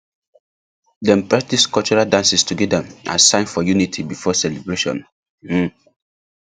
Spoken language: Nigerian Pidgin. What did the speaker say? dem practice cultural dances together as sign for unity before celebration um